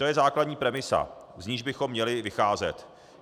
To je základní premisa, z níž bychom měli vycházet.